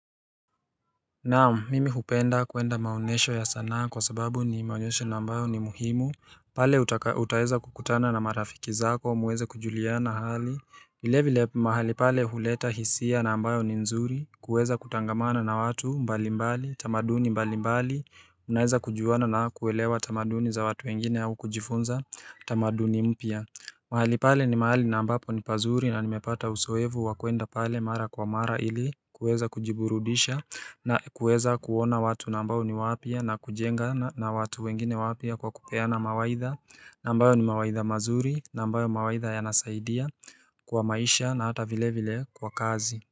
Naam, mimi hupenda kwenda maonyesho ya sanaa kwa sababu ni maonyesho na ambayo ni muhimu pale utaweza kukutana na marafiki zako muweze kujuliana hali vile vile mahali pale huleta hisia na ambayo ni nzuri kuweza kutangamana na watu mbalimbali, tamaduni mbalimbali Unaweza kujuana na kuelewa tamaduni za watu wengine au kujifunza tamaduni mpya mahali pale ni mahali na ambapo ni pazuri na nimepata uzoefu wa kwenda pale mara kwa mara ili kuweza kujiburudisha na kuweza kuona watu na ambao ni wapya na kujengana na watu wengine wapya kwa kupeana mawaidha na ambayo ni mawaidha mazuri na ambayo mawaidha yanasaidia kwa maisha na hata vile vile kwa kazi.